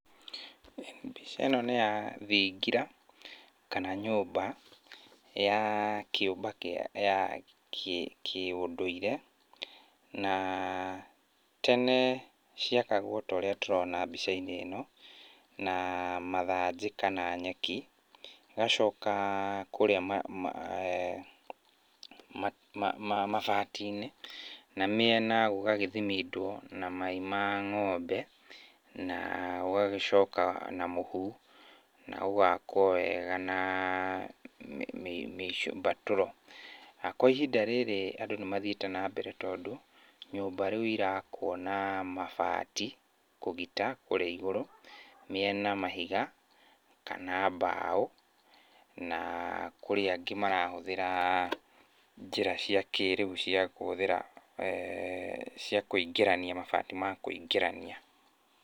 Mbica ĩno nĩ ya thingira, kana nyũmba, ya kĩũmba kĩa ya kĩũndũire, na tene ciakagwo ta ũrĩa tũrona mbica-inĩ ĩno, na mathanjĩ kana nyeki, ĩgacoka kũrĩa mabati-inĩ na mĩena gũgagĩthimindwo na mai ma ng'ombe, na gũgagĩcoka na mũhu na gũgakwo wega na mĩ mbatũro. Kwa ihinda rĩrĩ andũ nĩmatiĩte na mbere tondũ nyũmba rĩu irakwo na mabati kũgita kũrĩa igũrũ, mĩena mahiga kana mbaũ. Na kũrĩ angĩ marahũthĩra njĩra cia kĩrĩu cia kũhũthĩra cia kũingĩrania mabati ma kũingĩrania.